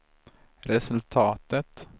resultatet